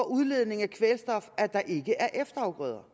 udledningen af kvælstof at der ikke er efterafgrøder